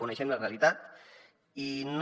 coneixem la realitat i no